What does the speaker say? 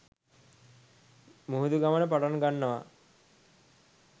මුහුදු ගමන පටන් ගන්නවා.